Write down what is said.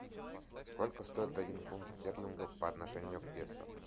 сколько стоит один фунт стерлингов по отношению к песо